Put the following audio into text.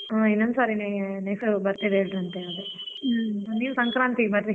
ಹಾ ಇನ್ನೊಂದ್ ಸಾರಿನೆ birthday ನೀವ್ ಸಂಕ್ರಾಂತಿಗ್ ಬರ್ರಿ.